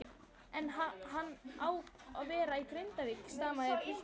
En ha-hann á að vera í Grindavík, stamaði pilturinn.